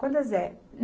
Quantas é?